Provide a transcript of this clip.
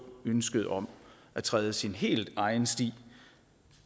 ønsket om at træde sin helt egen sti